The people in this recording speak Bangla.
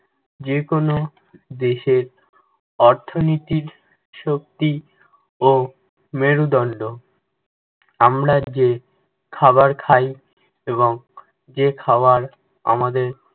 যেকোনো দেশের অর্থনীতির শক্তি ও মেরুদণ্ড। আমরা যে খাবার খাই এবং যে খাবার আমাদের